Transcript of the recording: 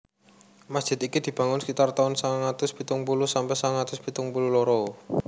Masjid iki dibangun sekitar tahun sangang atus pitung puluh sampe sangang atus pitung puluh loro